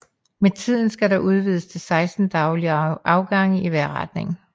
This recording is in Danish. Med tiden skal der udvides til 16 daglige afgange i hver retning